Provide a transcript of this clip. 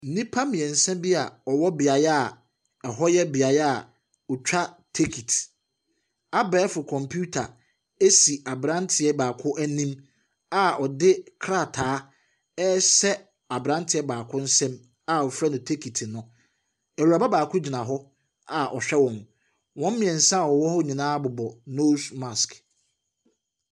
Nnipa mmiɛnsa bi a wɔwɔ beaeɛ a ɛhɔ yɛ beaeɛ a wɔtwa tickit. Abɛɛfo kɔmputa si abranteɛ baako anim a ɔde krataa rehyɛ abrante baako nsam a wɔfrɛ no ticket no. Awuraba baako gyina a ɔhwɛ wɔn. Wɔn mmiɛnsa a wɔwɔ hɔ nyinaa bobɔ nose masrk.